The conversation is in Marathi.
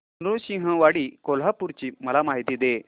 नृसिंहवाडी कोल्हापूर ची मला माहिती दे